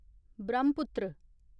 Brahmaputra